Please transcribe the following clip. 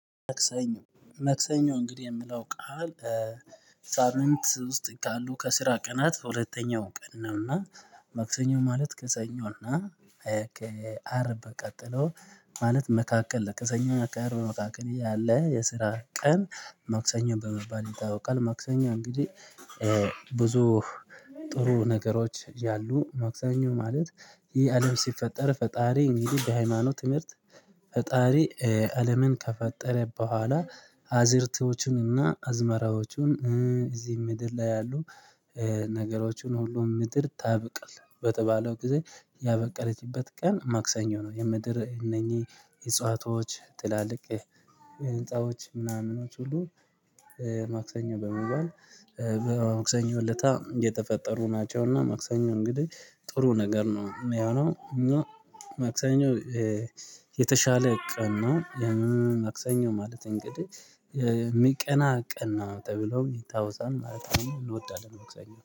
መክሰኞ መክሰኞ እንግዲህ የምለው ቃል ሳምንት ውስጥ ካሉ ከስራ ቀናት ሁለተኛው ቀን ነው እና መክሰኞ ማለት ክሰኞ እና ከ አርብ ቀጥሎ ማለት መካከል ከ ሰኞ ከ አርብ መካከል ያለ የስራ ቀን መክሰኞን በመባል ይታወቃል መክሰኞ እንግዲህ ብዙ ጥሩ ነገሮች ያሉ መክሰኞ ማለት ይህ አለም ሲፈጠር ፈጣሪ እንግዲህ በሃይማኖት ትምህርት ፈጣሪ አለምን ከፈጠረ ቦኋላ አዝርቶቹንና አዝመራዎቹን እዚህ ምድር ላይ ያሉ ነገሮቹን ሁሉም ምድር ታበቅል በተባለው ጊዜ ያበቀለችበት ቀን ማክሰኞ ነው የምድር እነኚህ አጹዋዋች ጥላልቅ ህንጻዎች ምናምኖች ሁሉ ማክሰኞ በመባል መክሰኞ አለታ የተፈጠሩ ናቸውና መክሰኞ እንግዲህ ጥሩ ነገር ነው ያው ነው መክሰኞ የተሻለ ቀን ነው መክሰኞ ማለት እንግዲህ የሚቀና ቀን ነው ተብሎ ይታወሳል ማለት ነው። እንወዳለን ማክሰኞን